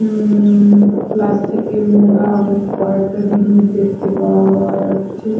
উম plastic -এ মোড়া অনেক কয়েকটা জিনিস দেখতে পাওয়া যাচ্ছে।